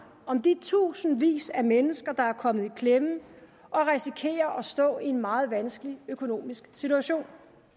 om de tusindvis af mennesker der er kommet i klemme og risikerer at stå i en meget vanskelig økonomisk situation